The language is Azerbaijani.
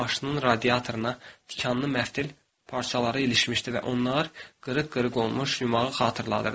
Maşının radiatoruna tikanlı məftil parçaları ilişmişdi və onlar qırıq-qırıq olmuş yumağı xatırladırdı.